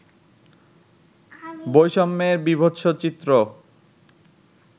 বৈষম্যের বিভৎস চিত্র